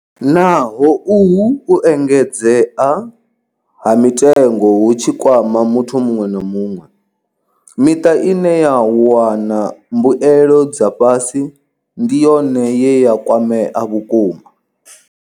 Naho uhu u engedzea ha mitengo hu tshi kwama muthu muṅwe na muṅwe, miṱa ine ya wana mbuelo dza fhasi ndi yone ye ya kwamea vhukuma.